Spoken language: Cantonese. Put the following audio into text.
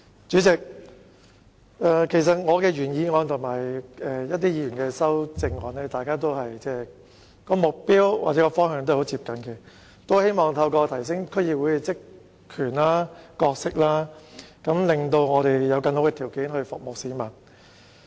主席，其實我的原議案和其他議員的修正案的目標或方向均很接近，都是希望提升區議會的職權和角色，令我們有更好的條件服務市民。